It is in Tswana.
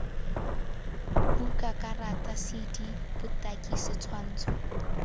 buka karata cd botaki setshwantsho